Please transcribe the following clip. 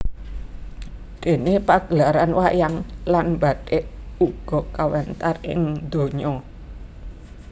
Déné pagelaran wayang lan bathik uga kawentar ing ndonya